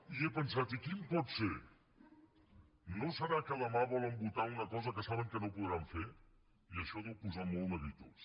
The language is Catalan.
i he pensat i quin pot ser no deurà ser que demà volen votar una cosa que saben que no podran fer i això deu posar molt neguitós